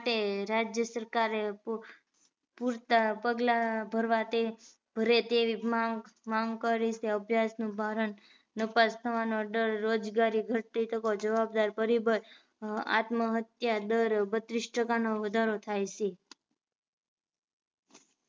આત્મ હત્યા દર બત્રીસ ટકા નો વધારો થાય છે